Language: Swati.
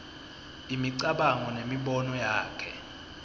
imicabango nemibono yakhe